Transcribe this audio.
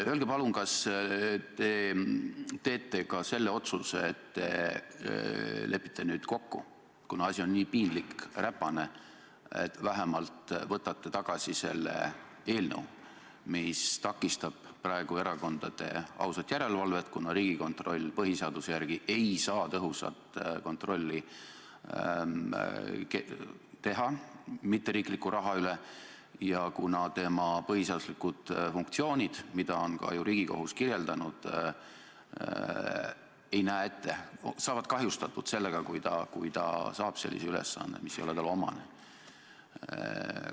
Öelge palun, kas te teete ka selle otsuse, et lepite nüüd kokku – kuna asi on nii piinlik ja räpane –, et vähemalt võtate tagasi selle eelnõu, mis takistab praegu erakondade ausat järelevalvet, kuna Riigikontroll põhiseaduse järgi ei saa tõhusat kontrolli teha mitteriikliku raha üle ja kuna tema põhiseaduslikud funktsioonid, mida on ka Riigikohus kirjeldanud, saavad kahjustatud sellega, kui ta saab ülesande, mis ei ole talle omane.